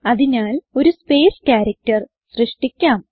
അതിനാൽ ഒരു സ്പേസ് characterസൃഷ്ടിക്കാം